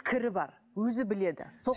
пікірі бар өзі біледі